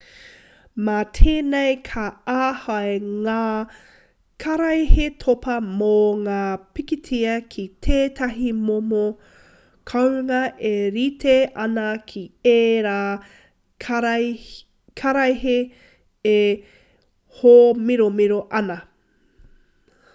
mā tēnei ka āhei ngā karaehe topa mō ngā pikitia ki tētahi momo kounga e rite ana ki ērā karaehe e hōmiromiro ana